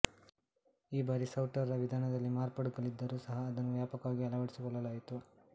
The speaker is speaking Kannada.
ಈ ಬಾರಿ ಸೌಟರ್ ರ ವಿಧಾನದಲ್ಲಿ ಮಾರ್ಪಾಡುಗಳಿದ್ದರೂ ಸಹ ಅದನ್ನು ವ್ಯಾಪಕವಾಗಿ ಅಳವಡಿಸಿಕೊಳ್ಳಲಾಯಿತು